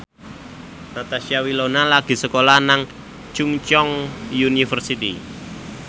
Natasha Wilona lagi sekolah nang Chungceong University